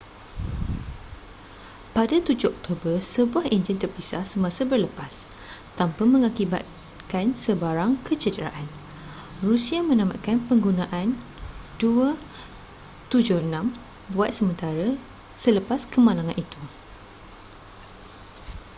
pada 7 oktober sebuah enjin terpisah semasa berlepas tanpa mengakibatkan sebarang kecederaan rusia menamatkan penggunaan il-76 buat sementara selepas kemalangan itu